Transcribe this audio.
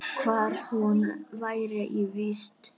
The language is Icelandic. Hvar hún væri í vist.